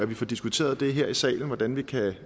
vi får diskuteret her i salen hvordan vi kan